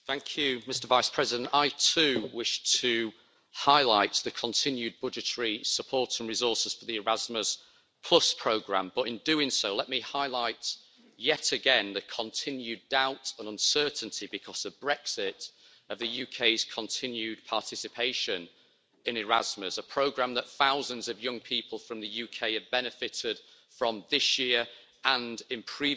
Mr President, I too wish to highlight the continued budgetary support and resources for the Erasmus programme, but in doing so, let me highlight yet again the continued doubt and uncertainty because of Brexit of the UK's continued participation in Erasmus, a programme that thousands of young people from the UK have benefited from this year and in previous